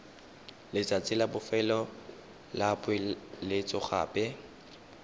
letsatsi la bofelo la poeletsogape